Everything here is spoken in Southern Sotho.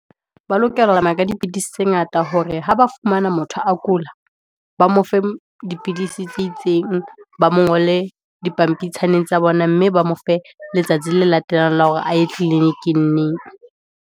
Ba lokela ka dipidisi tse ngata, hore ha ba fumana motho a kula, ba mo fe dipidisi tse itseng, ba mo ngole dipampitshaneng tsa bona, mme ba mo fe letsatsi le latelang la hore a ye clinic-ing neng.